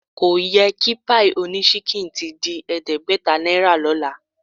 Ko yẹ kí páì oníṣínkìn ti di ẹ̀ẹ́dẹ́gbẹ̀ta náírà lọ́la